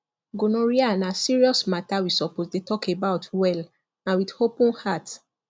gonorrhea na serious matter we suppose dey talk about well and with open heart